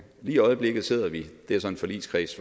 lige i øjeblikket sidder vi det er så en forligskreds